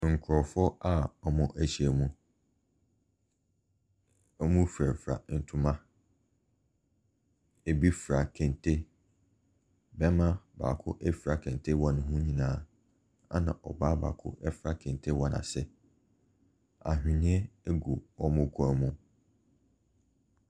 Nkorɔfoɔ a wɔahyia mu. Wɔ firafira ntoma. Ebi fira kente. Barima baako fira kente wɔ ne ho nyinaa na ɛna ɔbaa baako fira kente wɔ n'ase. Awheniɛ gu wɔn kɔn mu.